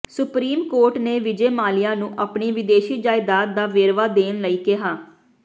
supreme court Vijay ਵਿਜੇ ਮਾਲਿਆ ਨੂੰ ਆਪਣੀ ਵਿਦੇਸ਼ੀ ਜਾਇਦਾਦ ਦਾ ਵੇਰਵਾ ਦੇਣ ਲਈ ਕਿਹਾ